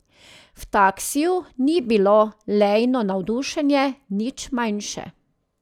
V taksiju ni bilo Leino navdušenje nič manjše.